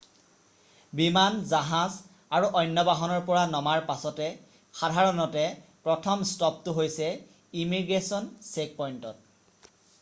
বিমান জাহাজ আৰু অন্য বাহনৰ পৰা নমাৰ পাছতে সাধাৰণতে প্ৰথম ষ্টপটো হৈছে ইমিগ্ৰেশ্য়ন চেকপইণ্টত